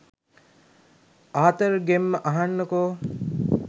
ආතර්ගෙම්ම අහගන්නකෝ.